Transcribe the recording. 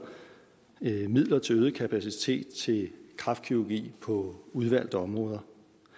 midler til øget kapacitet til kræftkirurgi på udvalgte områder